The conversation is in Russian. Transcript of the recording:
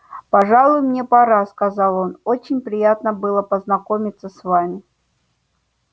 пожалуй мне пора сказал он очень приятно было познакомиться с вами